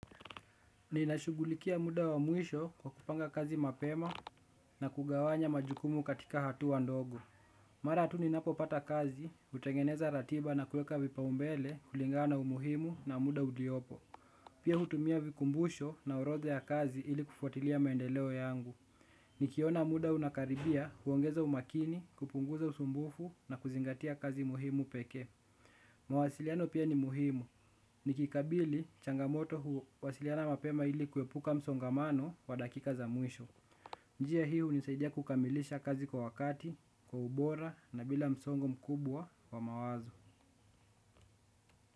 Ninashugulikia muda wa mwisho kwa kupanga kazi mapema na kugawanya majukumu katika hatua ndogo. Mara tu ninapo pata kazi, utengeneza ratiba na kueka vipaumbele kulingana na umuhimu na muda uliopo. Pia hutumia vikumbusho na orodha ya kazi ili kufuatilia maendeleo yangu. Nikiona muda unakaribia huongeza umakini, kupunguza usumbufu na kuzingatia kazi muhimu pekee. Mawasiliano pia ni muhimu. Nikikabili changamoto huwasiliana mapema ili kuepuka msongamano wa dakika za mwisho. Njia hii hunisaidia kukamilisha kazi kwa wakati, kwa ubora na bila msongo mkubwa wa mawazo.